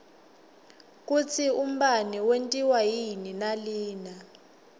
kutsi umbane wentiwa yini nalina